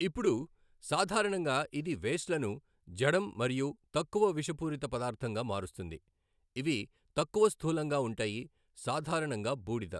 ఇప్పుడు సాధారణంగా ఇది వేస్ట్లను జఢం మరియు తక్కువ విషపూరిత పదార్థంగా మారుస్తుంది ఇవి తక్కువ స్థూలంగా ఉంటాయి సాధారణంగా బూడిద.